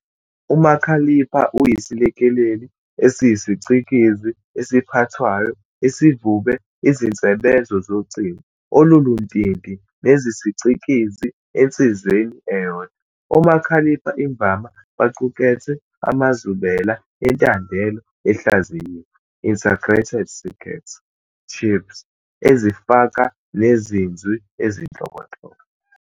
uMakhalipha uyisilekeleli esiyisicikizi esiphathwayo esivube izinsebenzo zocingo oluluntinti nezesicikizi ensizeni eyodwa. Omakhalipha imvama baqukethe amazubela entandelo ehlayiziwe, "integrated circuit chips", ezifaka neziNzwi ezinhlobonhlobo.